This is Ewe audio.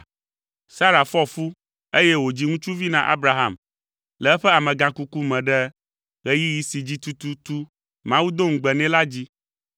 Sara fɔ fu, eye wòdzi ŋutsuvi na Abraham le eƒe amegãkuku me ɖe ɣeyiɣi si dzi tututu Mawu do ŋugbe nɛ la dzi.